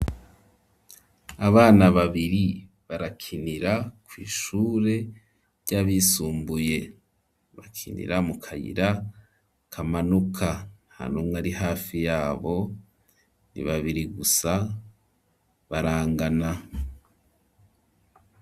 Abana babiri barakinira ku ishure ry'abisumbuye bakinira mu kayira kamanuka ntanumwa ari hafi yabo ni babiri gusa barangana.